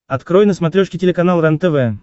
открой на смотрешке телеканал рентв